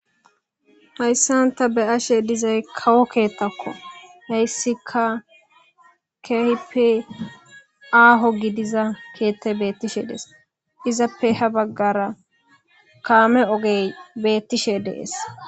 Hayssanta beyashe dizay kawo keettakko heyssika kehipi aaho gidiza keette beettishe dees izappe ha baggara kaame ogey beettishe dees.